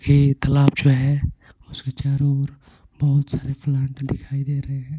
ये तालाब जो है उसके चारों ओर बहुत सारे प्लांट दिखाई दे रहे हैं.